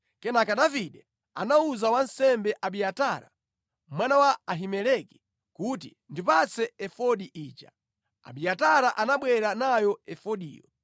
Kenaka Davide anawuza wansembe Abiatara, mwana wa Ahimeleki kuti, “Ndipatse efodi ija.” Abiatara anabwera nayo efodiyo.